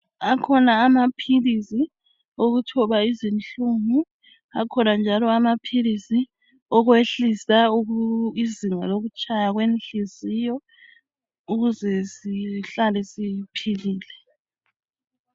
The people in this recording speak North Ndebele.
Akhona amaphilisi okuthoba izinhlungu akhona njalo amaphilisi okwehlisa izinga lokutshaya kwenhliziyo ukuze sihlale siphilile